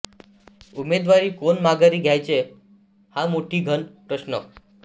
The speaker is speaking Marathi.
उमेदवारी कोणी माघारी घ्यायची हा मोठा घन प्रश्न